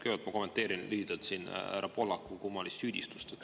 Kõigepealt ma kommenteerin lühidalt siin härra Pohlaku kummalist süüdistust.